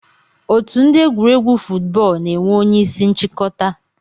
Otu ndi egwuregwu fuutbọọlụ na enwee onye isi nchikọta.